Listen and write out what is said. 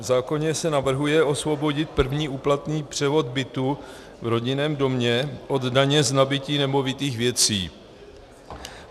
V zákoně se navrhuje osvobodit první úplatný převod bytu v rodinném domě od daně z nabytí nemovitých věcí.